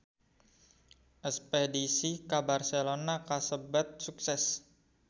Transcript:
Espedisi ka Barcelona kasebat sukses